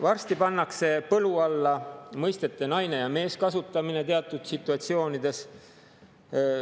Varsti pannakse põlu alla mõistete "naine" ja "mees" kasutamine teatud situatsioonides.